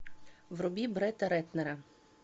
вруби бретта рэтнера